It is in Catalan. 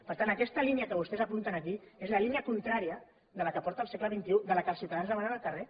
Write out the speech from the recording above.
per tant aquesta línia que vostès apunten aquí és la línia contrària de la que porta el segle xxi de la que els ciutadans demanen al carrer